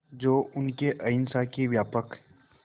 जो उनके अहिंसा के व्यापक